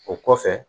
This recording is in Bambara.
O kɔfɛ